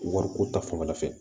Wariko ta fanfɛla fɛ